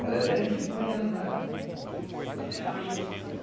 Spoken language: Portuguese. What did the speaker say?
Malhadeira a gente põe ela na... Malhadeira é a rede, uma rede.